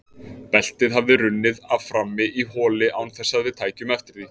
Beltið hafði runnið af frammi í holi án þess að við tækjum eftir því.